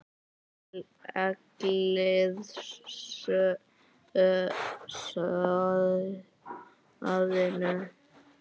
Hellið soðinu.